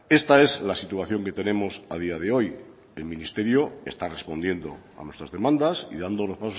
esta es la situación que tenemos a día de hoy el ministerio está respondiendo a nuestras demandas y dando los